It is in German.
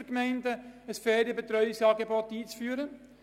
Ohne Bedürfnis muss kein Angebot aufgebaut werden.